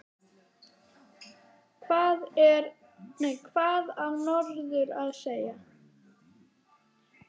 Hvað á norður að segja?